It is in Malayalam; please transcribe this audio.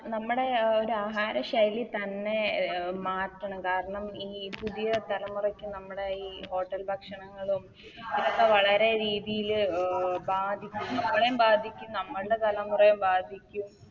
നമ്മുടെ ഒര് ആഹാര ശൈലി തന്നെ മാറ്റണം കാരണം ഇനി പുതിയ തലമുറക്ക് നമ്മുടെ ഈ Hotel ഭക്ഷണങ്ങളും ഇതൊക്കെ വളരെ രീതില് ബാധിക്കും നമ്മളേം ബാധിക്കും നമ്മൾടെ തലമുറയെ ബാധിക്കും